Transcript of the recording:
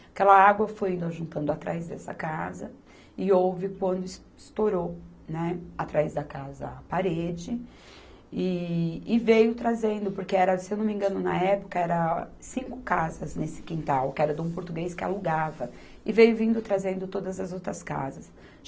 Aquela água foi juntando atrás dessa casa e houve quando es estourou, né, atrás da casa a parede e, e veio trazendo, porque era, se eu não me engano, na época eram cinco casas nesse quintal, que era de um português que alugava, e veio vindo trazendo todas as outras casas.